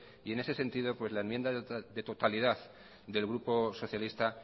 en ese sentido pues la enmienda de totalidad del grupo socialista